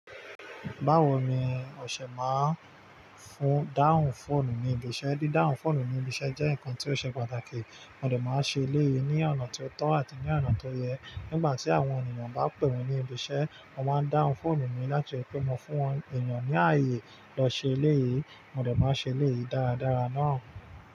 Báwo ni ọṣẹ máa ń fún dáhùn fóònù mi ibi iṣẹ́? Dídáhun fóònù mi ní ibi iṣẹ́ jẹ́ nǹkan tí ó ṣe pàtàkì. Mo dẹ̀ máa ṣe léyìí ní ọ̀nà tó tọ́ àti ní ọ̀nà tó yẹ. Nígbà tí àwọn ènìyàn bá pè mí ní ibi iṣẹ́, mo máa ń dáhùn fóònù mi láti ri pe mo fún wọn enìyàn ní ààyè lọ ṣe eléyìí, mo dẹ̀ bá ṣe eléyìí dáradára náà.